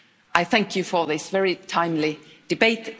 I thank you for this very timely debate.